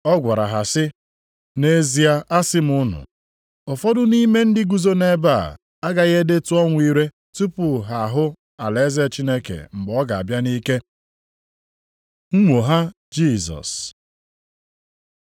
Ma ọ gwara ha sị, “Nʼezie asị m unu, ụfọdụ nʼime ndị guzo nʼebe a, agaghị edetụ ọnwụ ire tupu ha ahụ alaeze Chineke mgbe ọ ga-abịa nʼike.” Nnwogha Jisọs